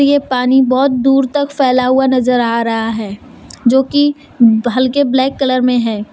ये पानी बहोत दूर तक फैला हुआ नजर आ रहा है जो की हल्के ब्लैक कलर में है।